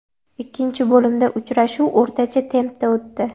Ikkinchi bo‘limda uchrashuv o‘rtacha tempda o‘tdi.